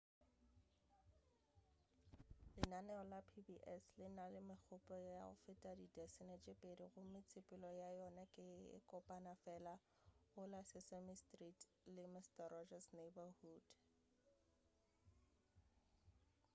lenaneo la pbs le na le megopo ya go feta didasene tše pedi gomme tsepelo ya yona ke ye kopana fela go la sesame street le mister rogers' neighborhood